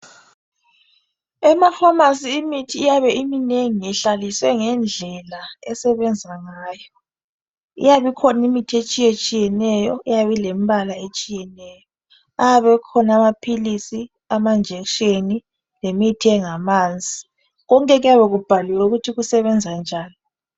Emapharmacy imithi iyabe iminengi. lhlaliswe ngendlela esebenza ngayo. Iyabe ikhona imithi etshiyetshiyeneyo, eyabe ilembala etshiyeneyo. Ayabe ekhona amaphilisi, amanjekisheni, lemithi engamanzi. Konke kuyabe kubhaliwe ukuthi kusebenza njani.